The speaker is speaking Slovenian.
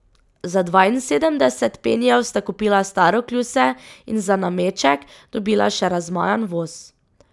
Za dvainsedemdeset penijev sta kupila staro kljuse in za nameček dobila še razmajan voz.